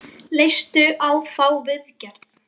Leistu á þá viðgerð?